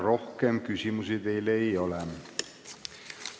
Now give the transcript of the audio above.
Rohkem küsimusi teile ei ole.